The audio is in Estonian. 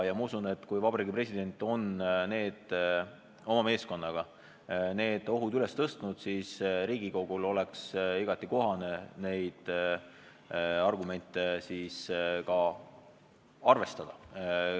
Ma usun, et kui Vabariigi President on oma meeskonnaga need ohud välja toonud, siis Riigikogul oleks igati kohane neid argumente ka arvestada.